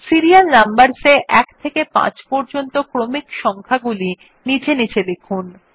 serial numbers এ ১ থেকে ৫ পর্যন্ত ক্রমিক সংখ্যাগুলি নীচে নীচে লিখুন